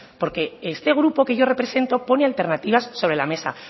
porque este grupo que yo represento pone alternativas sobre la mesa